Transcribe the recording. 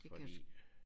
Fordi